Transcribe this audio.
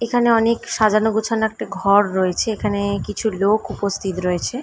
এখানে অনেক সাজানো গোছানো একটা ঘর রয়েছে এখানে কিছু লোক উপস্থিত রয়েছে ।